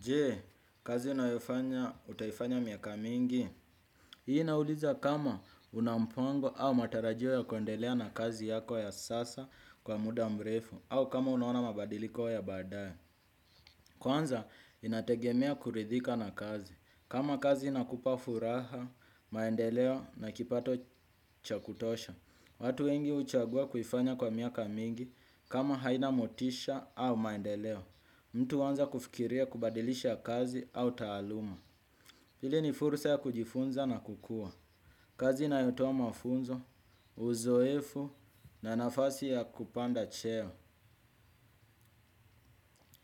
Je, kazi unayofanya, utaifanya miaka mingi. Hii inauliza kama unampango au matarajio ya kuendelea na kazi yako ya sasa kwa muda mrefu au kama unaona mabadiliko ya baadaye. Kwanza, inategemea kuridhika na kazi. Kama kazi inakupa furaha, maendeleo na kipato chakutosha. Watu wengi huchagua kuifanya kwa miaka mingi kama haina motisha au maendeleo. Mtu huanza kufikiria kubadilisha kazi au taaluma. Hili ni fursa ya kujifunza na kukua. Kazi inayotoa mafunzo, uzoefu na nafasi ya kupanda cheo.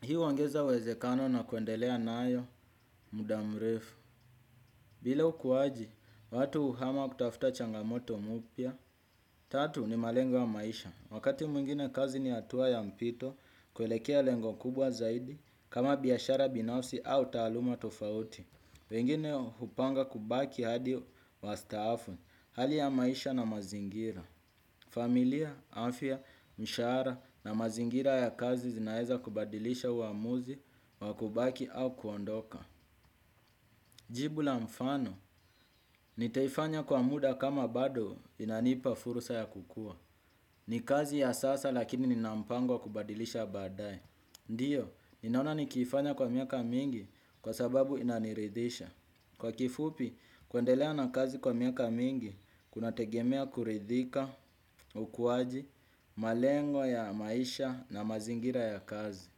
Hii huongeza uwezekano na kuendelea nayo, muda mrefu. Billa ukuwaji, watu uhama kutafuta changamoto mupya. Tatu ni malengo wa maisha. Wakati mwengine kazi ni hatua ya mpito, kuelekea lengo kubwa zaidi, kama biashara binafsi au taaluma tofauti. Wengine hupanga kubaki hadi wastaafu. Hali ya maisha na mazingira. Familia, afya, mshahara na mazingira ya kazi zinaweza kubadilisha uamuzi wa kubaki au kuondoka. Jibu la mfano, nitaifanya kwa muda kama bado inanipa fursa ya kukua. Ni kazi ya sasa lakini ninampango kubadilisha baadaye. Ndiyo, ninaona nikifanya kwa miaka mingi kwa sababu inaniridisha. Kwa kifupi, kuendelea na kazi kwa miaka mingi, kuna tegemea kuridhika, ukuwaji, malengwa ya maisha na mazingira ya kazi.